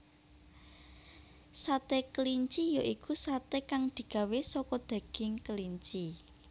Sate kelinci ya iku satè kang digawé saka daging kelinci